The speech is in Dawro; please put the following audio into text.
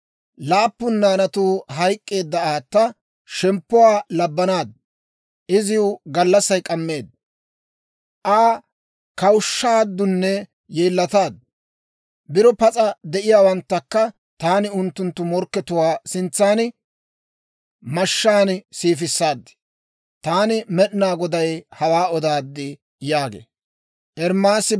Laappun naanatuu hayk'k'eedda aata shemppuwaa labbanaaddu. Iziw gallassay k'ammeedda; Aa kawushshaaddunne yeellataaddu. Biro pas'a de'iyaawanttakka taani unttunttu morkkatuwaa sintsan mashshaan siifissaad. Taani Med'inaa Goday hawaa odaad» yaagee.